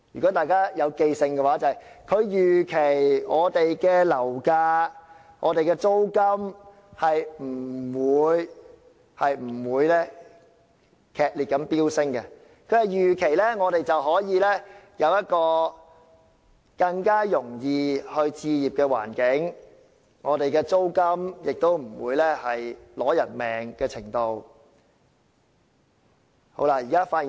大家應該還記得，他說他預期樓價和租金不會劇烈飆升，我們可以有一個更容易置業的環境，租金亦不會達至要命的程度。